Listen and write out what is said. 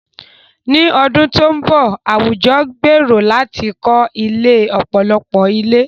Ní ọdún tó ń bọ̀, àwùjọ gbèrò láti kọ́ ilé ọ̀pọ̀lọpọ̀ ilé.